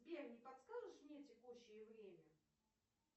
сбер не подскажешь мне текущее время